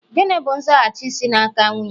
Gịnị bụ nzaghachi si n'aka nwunye?